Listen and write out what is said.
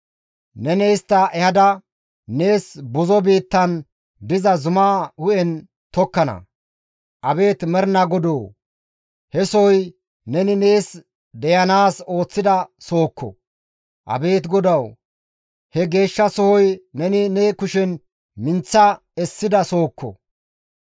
Neni istta ehada, nees buzo biittan diza zuma hu7en tokkana. Abeet Mernaa Godoo, he sohoy neni nees deyanaas ooththida sohokko. Abeet GODAWU! He geeshsha sohoy neni ne kushen minththa essida sohokko.